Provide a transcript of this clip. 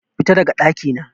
Fita daga ɗakina!